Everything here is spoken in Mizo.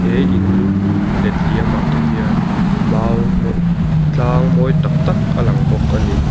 he in letliam ah te hian mau tlang mawi tak tak a lang bawk a ni.